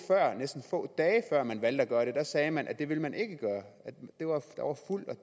næsten få dage før man valgte at gøre det sagde man at det ville man ikke gøre og